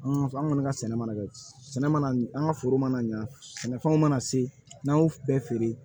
An kɔni ka sɛnɛ mana kɛ sɛnɛ mana an ka foro mana ɲa sɛnɛfɛnw mana se n'an y'o bɛɛ feere